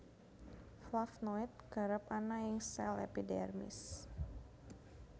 Flavnoid kerep ana ing sel epidermis